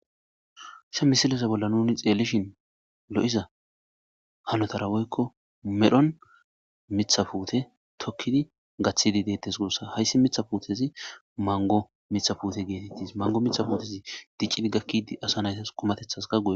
sha misilesa bolla nuni xeellishin lo7iza hanotara woykko medhon mithafuute tokkidi gathidi deettes guossa hayssi mitha puutezi mango mitha puute geetettis mango mitha puutezi diccidi gakkidi asa naytas kumatethaska gue